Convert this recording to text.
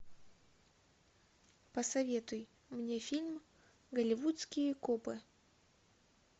посоветуй мне фильм голливудские копы